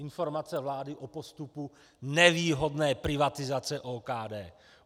Informace vlády o postupu nevýhodné privatizace OKD.